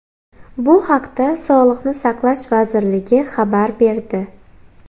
Bu haqda Sog‘liqni saqlash vazirligi xabar berdi.